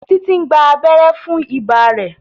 Titi ń gbà abéré fún ibà rẹ.